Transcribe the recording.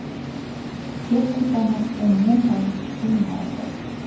Texnikani umuman tushunmaydi.